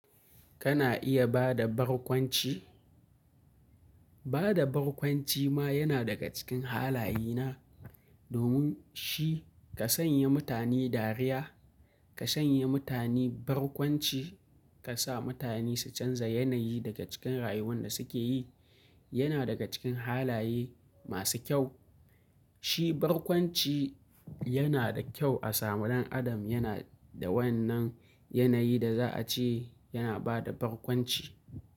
Kana iya ba da barkwanci? Ba da barkwanci ma yana daga cikin halaye na, domin shi ka sanye mutane dariya, ka sanya mutane barkwanci, ka sa mutane su canza yanayi daga cikin rayuwan da suke yi, yana daga cikin halaye masu kyau. Shi barkwanci yana da kyau a samun dan adam yana da wannan yanayi da za a ce yana ba da barkwanci.